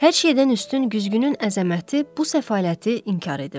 Hər şeydən üstün güzgünün əzəməti bu səfaləti inkar edirdi.